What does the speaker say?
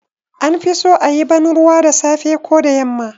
An fi so a yi banruwa da safe ko da yamma